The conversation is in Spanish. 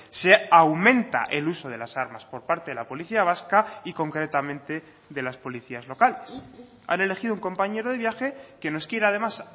se aumenta el uso de las armas por parte de la policía vasca y concretamente de las policías locales han elegido un compañero de viaje que nos quiere además